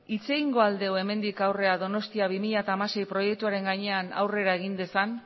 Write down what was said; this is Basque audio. hitz egingo al dugu hemendik aurrera donostia bi mila hamasei proiektuaren gainean aurrera egin dezan